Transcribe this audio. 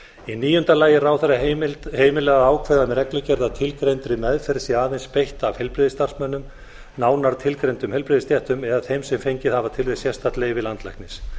í níunda lagi er ráðherra heimilað að ákveða með reglugerð að tilgreindri meðferð sé aðeins beitt af heilbrigðisstarfsmönnum nánar tilgreindum heilbrigðisstéttum eða þeim sem fengið hafa til þess sérstakt leyfi landlæknis